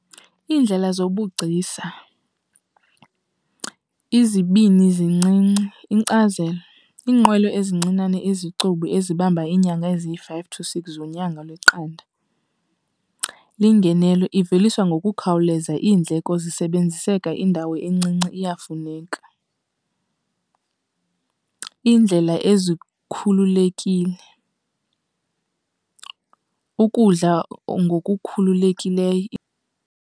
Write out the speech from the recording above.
Iindlela zobugcisa, izibini zincinci. Inkcazelo, iinqwelo ezincinane ezicubu ezibamba iinyanga eziyi-five to six zonyanga lweqada. Le ngenelo iveliswa ngokukhawuleza, iindleko zisebenziseka indawo encinci, iyafuneka. Iindlela ezikhululekile, ukudla ngokukhululekileyo.